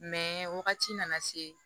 wagati nana se